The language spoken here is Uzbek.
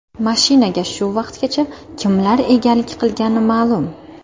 Mashinaga shu vaqtgacha kimlar egalik qilgani ma’lum.